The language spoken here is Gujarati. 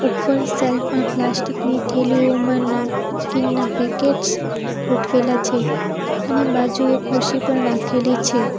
ઉપર સેલ્ફ માં પ્લાસ્ટિક ની થેલીઓ નમકીનના પેકેટ્સ ગોઠવેલા છે અને બાજુએ ખુરશી પણ રાખેલી છે.